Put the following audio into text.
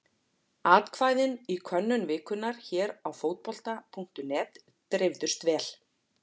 Atkvæðin í könnun vikunnar hér á Fótbolta.net dreifðust vel.